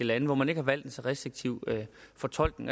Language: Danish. lande hvor man ikke har valgt en så restriktiv fortolkning